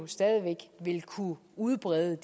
stadig væk ville kunne udbrede